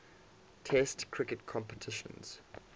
test cricket competitions